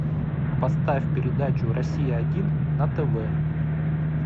поставь передачу россия один на тв